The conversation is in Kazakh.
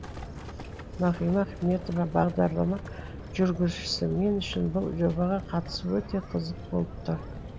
нағима ахметова бағдарлама жүргізушісі мен үшін бұл жобаға қатысу өте қызық болып тұр